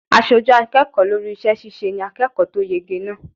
Aṣojú akẹ́kọ̀ọ́ lórí iṣẹ́ ṣíṣe ni akẹ́kọ̀ọ́ tó yege náà.